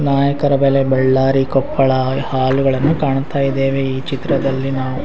ನಾಯಕರ ಬಲೆ ಬಳ್ಳಾರಿ ಕೊಪ್ಪಳ ಹಾಲುಗಳನ್ನು ಕಾಣ್ತಾ ಇದ್ದೇವೆ ಈ ಚಿತ್ರದಲ್ಲಿ ನಾವು --